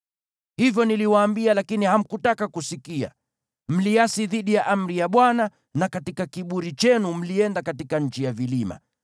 Hivyo niliwaambia, lakini hamkutaka kusikia. Mliasi dhidi ya amri ya Bwana , na katika kiburi chenu mlienda katika nchi ya vilima.